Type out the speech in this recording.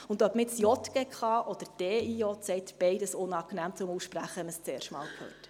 Ob man jetzt JGK oder DIJ sagt: Beides ist unangenehm zum Aussprechen, wenn man es zum ersten Mal hört.